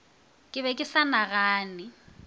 ke be ke sa nagane